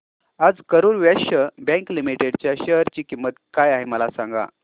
आज Karur Vysya bank limited च्या share ची किंमत काय आहे मला सांगा